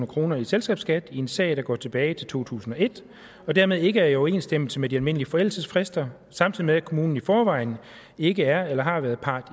kroner i selskabsskat i en sag der går tilbage til to tusind og et og dermed ikke er i overensstemmelse med de almindelige forældelsesfrister samtidig med at kommunen i forvejen ikke er eller har været part